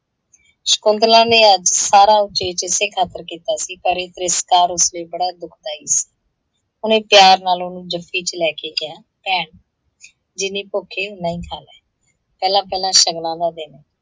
ਸ਼ਕੁੰਤਲਾ ਨੇ ਅੱਜ ਸਾਰਾ ਉਚੇਚ ਇਸੇ ਖਾਤਿਰ ਕੀਤਾ ਸੀ ਪਰ ਇਹ ਤ੍ਰਿਸਕਾਰ ਉਸ ਲਈ ਬੜਾ ਦੁੱਖਦਾਈ ਸੀ। ਉਹਨੇ ਪਿਆਰ ਨਾਲ ਉਹਨੂੰ ਜੱਫੀ ਚ ਲੈ ਕੇ ਕਿਹਾ, ਭੈਣ ਜਿੰਨੀ ਭੁੱਖ ਹੈ ਉੰਨਾ ਹੀ ਖਾ ਲੈ, ਪਹਿਲਾ ਪਹਿਲਾ ਸ਼ਗਨਾਂ ਦਾ ਦਿਨ ਹੈ।